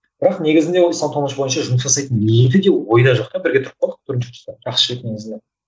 бірақ негізінде ол исламтанушы бойынша жұмыс жасайтын ниеті де ойда жоқ та бірге тұрып қалдық бірінші курста жақсы жігіт негізінен